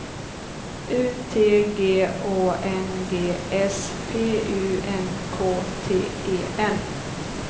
U T G Å N G S P U N K T E N